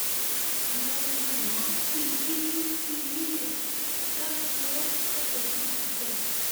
lẹyìn tí wọn lù wọn bíi kíkú bíi yíyẹ ni wọn dáná sun wọn sẹgbẹẹ títì níbẹ